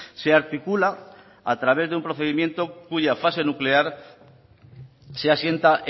se articula a través de un procedimiento cuya fase nuclear se asienta